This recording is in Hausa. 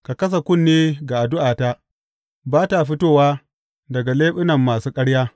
Ka kasa kunne ga addu’ata, ba ta fitowa daga leɓuna masu ƙarya.